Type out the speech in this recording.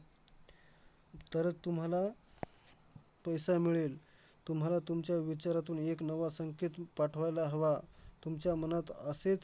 तरच तुम्हाला पैसा मिळेल. तुम्हाला तुमच्या विचारातून एक नवा संकेत पाठवायला हवा. तुमच्या मनात असेच